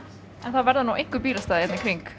það verða nú einhver bílastæði hér í kring